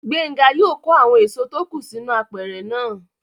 Gbénga yóò kó àwọn èso tó kù sínú apẹ̀rẹ̀ náà